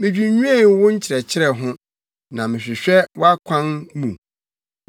Midwinnwen wo nkyerɛkyerɛ ho na mehwehwɛ wʼakwan mu.